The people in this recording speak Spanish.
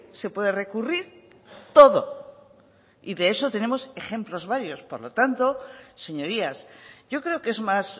se puede recurrir todo y de eso tenemos ejemplos varios por lo tanto señorías yo creo que es más